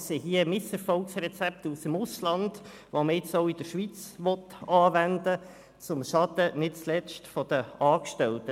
Es sind hier Misserfolgsrezepte aus dem Ausland, die man jetzt auch in der Schweiz anwenden will, nicht zuletzt zum Schaden der Angestellten.